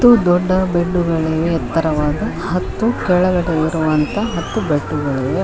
ಮತ್ತು ದೊಡ್ಡ ಬೆಡ್ಡುಗಳಿವೆ ಎತ್ತರವಾದ ಹತ್ತು ಕೆಳಗಡೆ ಇಡುವಂತಹ ಹತ್ತು ಬೆಡ್ಡುಗಳಿವೆ.